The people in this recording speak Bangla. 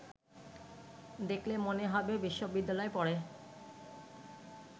দেখলে মনে হবে বিশ্ববিদ্যালয়ে পড়ে